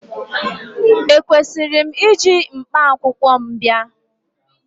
Ekwesịrị m iji mkpakwụkwọ m bịa?